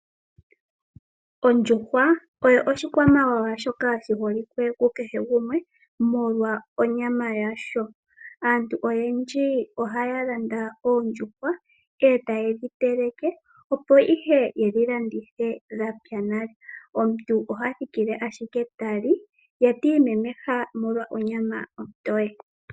Ondjuhwa oyo oshikwamawawa shoka shi holike ku kehe gumwe molwa onyama yasho, aantu oyendji ohaya landa oondjuhwa e taye dhi teleke opo ihe yedhi landithe dhapya nale omuntu oha thikile ashike ta li ye ti imemeha molwa onyama ontoye.